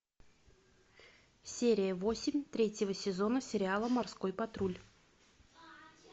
серия восемь третьего сезона сериала морской патруль